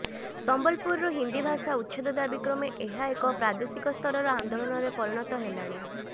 ସମ୍ବଲପୁରରୁ ହିନ୍ଦୀ ଭାଷା ଉଚ୍ଛେଦ ଦାବି କ୍ରମେ ଏହା ଏକ ପ୍ରାଦେଶିକ ସ୍ତରର ଆନ୍ଦୋଳନରେ ପରିଗଣିତ ହେଲା